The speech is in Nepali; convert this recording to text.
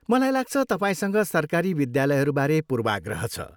मलाई लाग्छ, तपाईँसँग सरकारी विद्यालयहरूबारे पूर्वाग्रह छ।